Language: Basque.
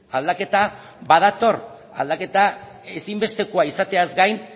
aldaketa badator aldaketa ezinbestekoa izateaz gain